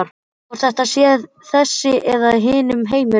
Hvort þetta sé þessi eða hinn heimurinn.